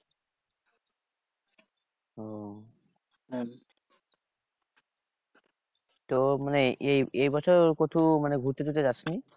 তো মানে এই এই বছর কোথাও মানে ঘুরতে টুরতে যাসনি?